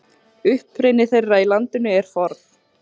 Uppruni þeirra í landinu er forn.